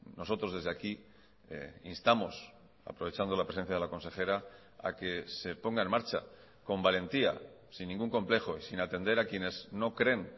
nosotros desde aquí instamos aprovechando la presencia de la consejera a que se ponga en marcha con valentía sin ningún complejo y sin atender a quienes no creen